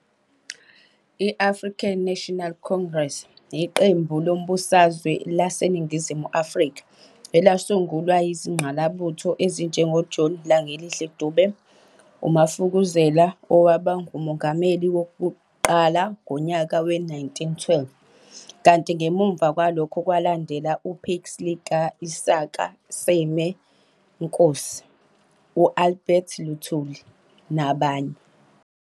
I-African National Congress yiqembu lezombusazwe laseNingizimu Afrika elasungulwa yizingqalabutho ezinjengo John Langalibalele Dube, umafukuzela, owaba ngumongameli wokuqala ngonyaka we-1912, kanti ngemva kwalokho kwalandela uPixley ka-Isaka Seme, Inkosi uAlbert Lutuli, nabanye.